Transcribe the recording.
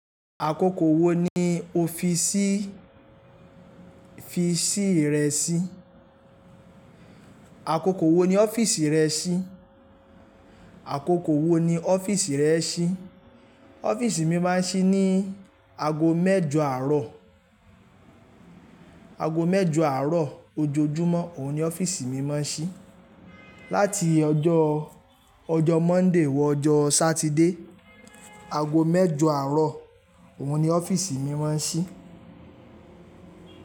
Àkókò wo ni o fi síí fi ṣí rẹ sí? Àkókò wo ni ọ́fíìsì rẹ ṣí? Àkókò wo ni ọ́fíìsì rẹ ṣí? Ọ́fíìsì mi máa ń ṣí ní ago mẹ́jọ àárọ̀, ago mẹ́jọ àárọ̀ ojoojúmọ́, òun ni ọ́fíìsì mi máa ń ṣí. Láti ọjọ́, ọjọ́ Monday wọ ọjọ́ Satide, ago mẹ́jọ àárọ̀, òun ni ọ́fíìsì mi máa ń ṣí.